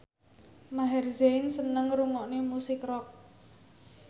Maher Zein seneng ngrungokne musik rock